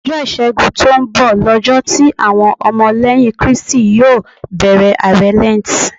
Ọjọ́ ìṣẹ́gun tó ń bọ̀ lọjọ́ tí àwọn ọmọ lẹ́yìn Kristi yó bẹ̀rẹ̀ àwẹ̀ Lẹ́ǹtì.